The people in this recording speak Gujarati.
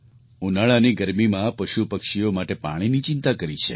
ઉનાળાની ગરમીમાં પશુપક્ષીઓ માટે પાણીની ચિંતા કરી છે